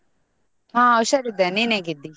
ಹಾ ಹುಷಾರ್ ಇದ್ದೆ, ನಿನ್ ಹೇಗಿದ್ದಿ?